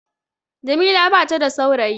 Jamila bata da saurayi